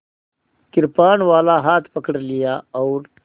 कृपाणवाला हाथ पकड़ लिया और